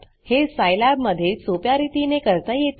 हे सिलाब मधे सोप्या रितीने करता येते